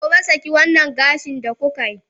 gobe, saki wannan gashin da kuka yi!